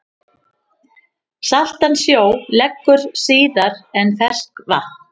Saltan sjó leggur síðar en ferskvatn.